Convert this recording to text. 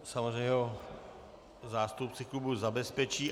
Samozřejmě ho zástupci klubu zabezpečí.